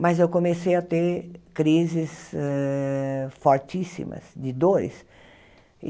Mas eu comecei a ter crises eh fortíssimas de dores.